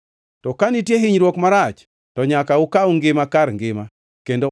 To ka nitie hinyruok marach to nyaka ukaw ngima kar ngima kendo